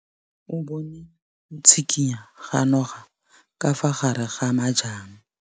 O bone go tshikinya ga noga ka fa gare ga majang.